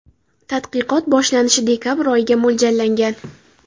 Tadqiqot boshlanishi dekabr oyiga mo‘ljallangan.